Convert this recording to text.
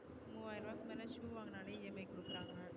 மூனாயிரம் மேல shoe வாங்குனாலே EMI கொடுக்கறாங்க